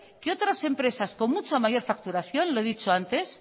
que otras empresas con mucha mayor facturación lo he dicho antes